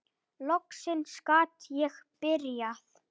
Loksins gat ég byrjað!